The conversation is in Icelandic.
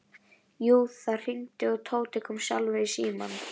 Jú, það hringdi og Tóti kom sjálfur í símann.